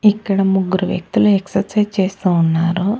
ఇక్కడ ముగ్గురు వ్యక్తులు ఎక్సర్సైజ్ చేస్తా ఉన్నారు.